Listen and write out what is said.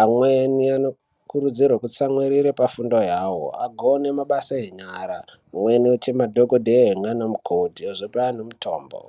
Amweni anokurudzirwa kutsamwirira pafundo yavo agone mabasa enyara amweni aite madhokodheya nana mukoti kuzope antu mutombo.